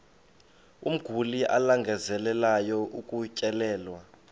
umguli alangazelelayo ukutyelelwa